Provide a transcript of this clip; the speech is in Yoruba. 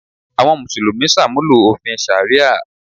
Àwọn Mùsùlùmí ṣàmúlò òfin ṣàríà